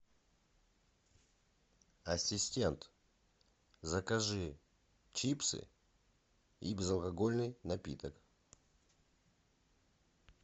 ассистент закажи чипсы и безалкогольный напиток